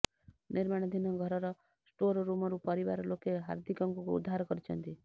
ନିର୍ମାଣାଧୀନ ଘରର ଷ୍ଟୋର ରୁମରୁ ପରିବାର ଲୋକେ ହାର୍ଦ୍ଧିକଙ୍କୁ ଉଦ୍ଧାର କରିଛନ୍ତି